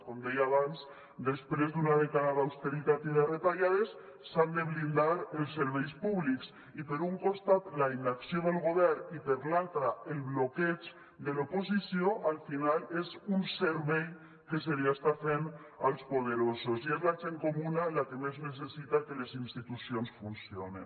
com deia abans després d’una dècada d’austeritat i de retallades s’han de blindar els serveis públics i per un costat la inacció del govern i per l’altra el bloqueig de l’oposició al final és un servei que se li està fent als poderosos i és la gent comuna la que més necessita que les institucions funcionin